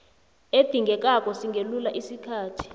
edingekako singelula isikhathi